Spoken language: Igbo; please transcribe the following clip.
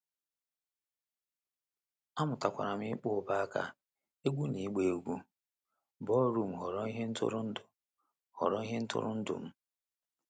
Amụtakwara m ịkpọ ubo-aka, egwu na ịgba egwu ballroom ghọrọ ihe ntụrụndụ ghọrọ ihe ntụrụndụ m.